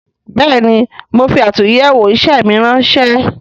Bẹẹni, mo fi atunyewo isẹ mi ránsẹ́